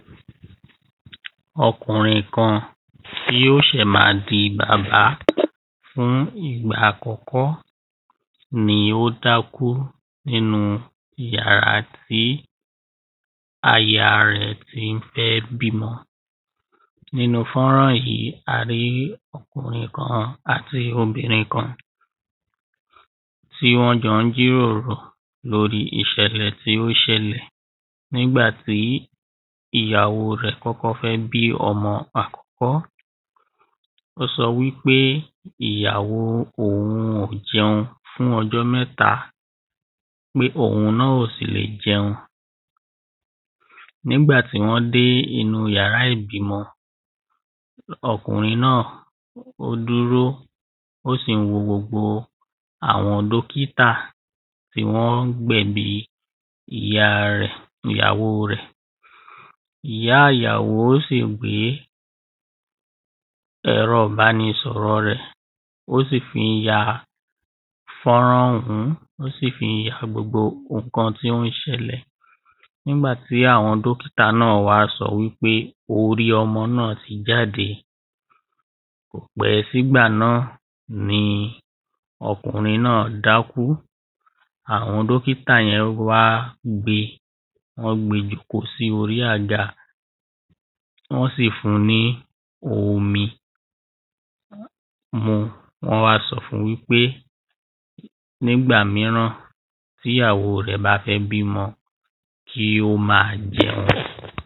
Ọkùnrin kan tí ó ṣè má di bàbá fún ìgbà àkọ́kọ́ ni ó dákú nínú yàrá tí aya rẹ̀ tí ń fẹ́ bímọ. Nínú fọ́nrán yìí a rí ọkùrin kan àti obìnrin kan tí wọ́n ń jọ́ jíròrò lórí ìṣẹ̀lẹ̀ tí ó ṣẹlẹ̀ nígbàtí ìyàwó rẹ̀ kọ́kọ́ fẹ́ bí ọmọ rẹ̀ àkọ́kọ́. wọ́n sọ wípé ìyàwó òhun ò jẹun fún ọjọ́ mẹ́ta pé òhun náà ò sì le jẹun. Nígbà tí wọ́n dé inú yàrá ìbímọ ọkùrin náà ó dúró ó sì ń wo gbogbo àwọn dọ́kítà bí wọ́n ń gbẹ̀bí ìyá rẹ̀ ìyàwó rẹ̀. Ìyá ìyàwó sì gbé ẹ̀rọ ìbánisọ̀rọ̀ rẹ̀ ó sì fí ń ya fọ́nrán ọ̀hún ó sì fí ń ya gbogbo nǹkan tí ó ń ṣẹlẹ̀ nígbà tí àwọn dọ́kítà náà wá sọ wípé orí ọmọ náà ti jáde kò pẹ́ sígbà náà ni ọkùnrin náà dákú àwọn dọ́kítà yẹn wá gbé wọ́n gbé jòkó sí orí àga wọ́n sì fún ní omi mu wọ́n wá sọ fún wípé nígbà míràn tíyàwó rẹ̀ bá fẹ́ bímọ kí ó má jẹun.